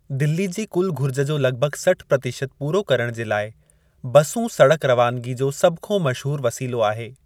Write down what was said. दिल्ली जी कुलु घुरिज जो लगि॒भगि॒ सठि प्रतिशत पूरो करणु जे लाइ बसूं सड़क रवानगी जो सभ खां मशहुरु वसीलो आहे।